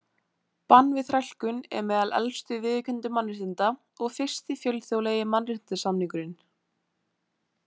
Bann við þrælkun er meðal elstu viðurkenndu mannréttinda og fyrsti fjölþjóðlegi mannréttindasamningurinn.